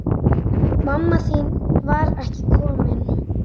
Mamma þín var ekki komin.